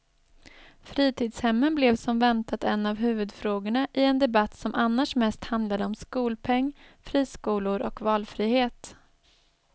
Fritidshemmen blev som väntat en av huvudfrågorna i en debatt som annars mest handlade om skolpeng, friskolor och valfrihet.